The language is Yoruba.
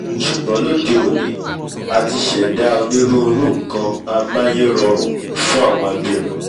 ṣùgbọ́n lóde òní a ti ṣẹ̀dá onírúirú nkan amáyérọrùn fún àwọn abirùn